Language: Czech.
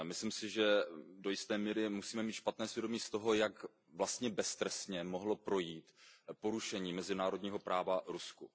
Myslím si, že do jisté míry musíme mít špatné svědomí z toho, jak vlastně beztrestně mohlo projít porušení mezinárodního práva v Rusku.